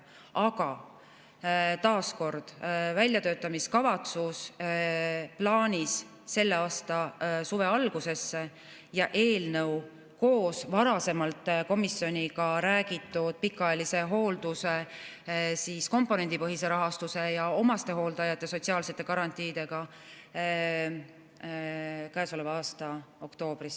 Aga taas kord: väljatöötamiskavatsus on plaanis selle aasta suve alguses ja eelnõu koos varasemalt komisjoniga räägitud pikaajalise hoolduse komponendipõhise rahastuse ja omastehooldajate sotsiaalsete garantiidega käesoleva aasta oktoobris.